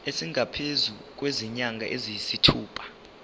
esingaphezu kwezinyanga eziyisithupha